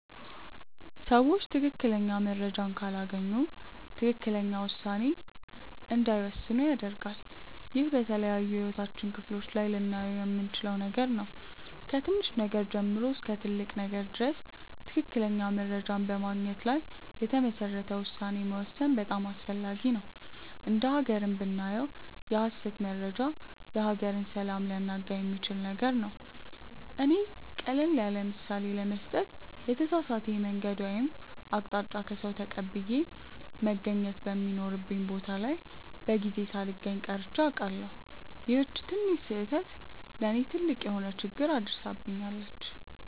ሰዎች ትክክለኛ መረጃን ካላገኙ ትክክለኛ ውሳኔ እንዳይወስኑ ያደርጋል። ይህ በተለያዩ የህይወታችን ክፍሎች ላይ ልናየው የምንችል ነገር ነው። ከትንሽ ነገር ጀምሮ እስከ ትልቅ ነገር ድረስ ትክክለኛ መረጃን በማግኘት ላይ የተመሰረተ ውሳኔ መወሰን በጣም አስፈላጊ ነው። እንደ ሃገርም ብናየው የሐሰት መረጃ የሀገርን ሰላም ሊያናጋ የሚችል ነገር ነው። እኔ ቀለል ያለምሳሌ ለመስጠት የተሳሳተ የመንገድ ወይም አቅጣጫ ከሰዉ ተቀብዬ መገኘት በሚኖርብኝ ቦታ ላይ በጊዜው ሳልገኝ ቀርቼ አውቃለሁ። ይቺ ትንሽ ስህተት ለእኔ ትልቅ የሆነ ችግር አድርሳብኛለች።